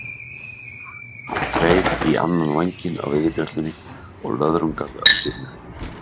Hann þreif í annan vænginn á veiðibjöllunni og löðrungaði Össur með henni.